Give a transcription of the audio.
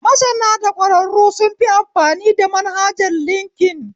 Masana da ɓɗƙwararru sun fi amfani da manhajar linkin